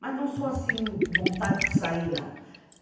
Mas não sou, assim, vontade de sair, não.